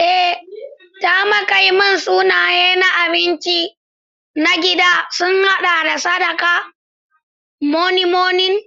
Ee, takamaiman sunaye na abinci na gida sun haɗa da Sakada, Moninmonin,